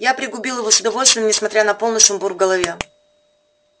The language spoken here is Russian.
я пригубил его с удовольствием несмотря на полный сумбур в голове